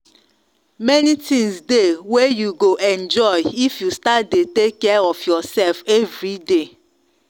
many tins dey wey you go enjoy if you start dey take care of yourself everyday